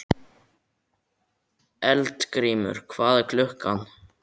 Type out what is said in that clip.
Eldgrímur, hvað er klukkan?